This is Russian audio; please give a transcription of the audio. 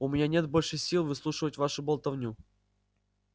у меня нет больше сил выслушивать вашу болтовню